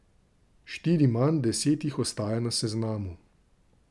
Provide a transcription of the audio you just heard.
Štiri manj, deset jih ostaja na seznamu.